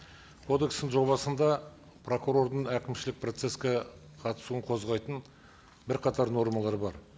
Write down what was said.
кодекстің жобасында прокурордың әкімшілік процесске қатысуын қозғайтын бірқатар нормалар бар